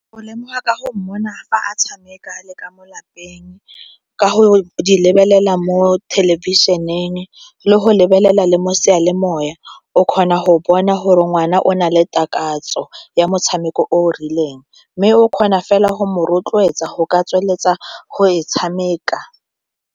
O lemoga ka go mona fa a tshameka le ka mo lapeng ka go di lebelela mo thelebišeneng le go lebelela le mo seyalemoya o kgona go bona gore ngwana o na le takatso ya motshameko o o rileng mme o kgona fela go mo rotloetsa go ka tsweletsa go e tshameka.